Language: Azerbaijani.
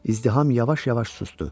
İzdiham yavaş-yavaş sustu.